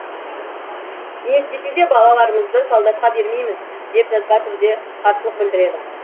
не істесе де балаларымызды солдатқа бермейміз деп жазба түрде қарсылық білдіреді